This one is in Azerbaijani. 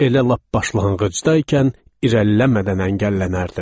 Elə lap başlanğıcdaykən irəliləmədən əngəllənərdim.